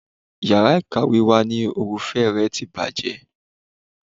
Yàrá ìkàwé wa ni òrùfé rẹ̀ ti bàjẹ́.